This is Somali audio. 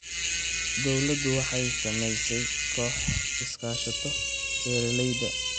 Dawladdu waxay samaysay kooxo iskaashato beeralayda.